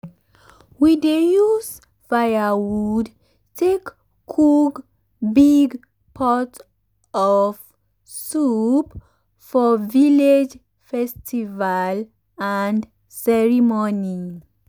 um we dey use firewood take cook big pot of soup for village festival and ceremony.